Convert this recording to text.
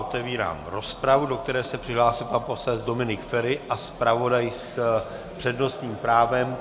Otevírám rozpravu, do které se přihlásil pan poslanec Dominik Feri a zpravodaj s přednostním právem.